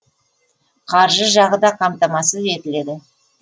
қаржы жағы да қамтамасыз етіледі